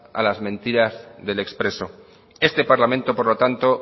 a las mentiras del expreso este parlamento por lo tanto